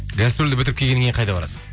гастрольді бітіріп келгеннен кейін қайда барасың